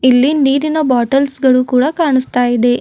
ಇಲ್ಲಿ ನೀರಿನ ಬಾಟಲ್ಸ್ ಗಳು ಕೂಡ ಕಾಣಸ್ತಾಇದೆ.